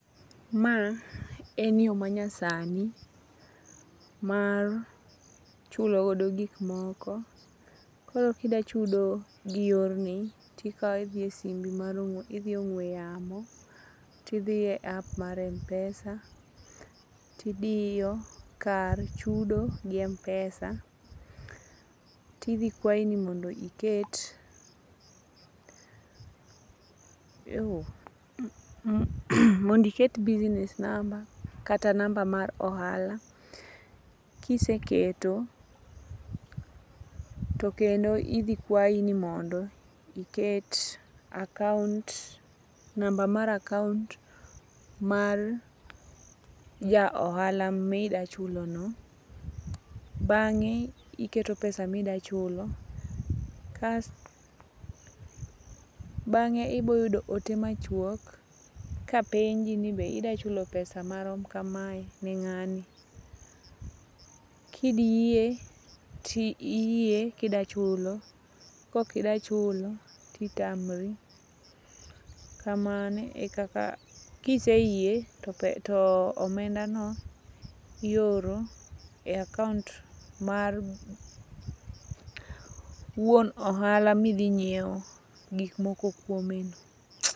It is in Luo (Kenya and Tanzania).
Ma en yo manyasani mar chung'o wodo gikmoko. Koro kida chudo gi yorni, Idhie ong'we yamo, tidhi e APP mar Mpesa tidiyo kar chudo gi Mpesa. Tidhi kwayi ni mondo iket business number kata namba mar ohala. Kiseketo, to kendo idhi kwayi ni mondo iket account, namba mar account mar ja ohala midachulono. Bang'e, iketo pesa midachulono .Bang'e iboyudo ote machuok kapenji ni be ida chulo pesa marom kamae ni ng'ani. Kidhi yie tiyie kidachulo. Kokida chulo, titamri. Kamano e kaka .Kiseyie to omendano ioro e account mar wuon ohala midhi nyiewo gikmoko kuomeno.